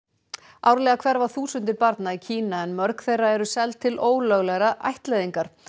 árlega hverfa þúsundir barna í Kína en mörg þeirra eru seld til ólöglegrar ættleiðingar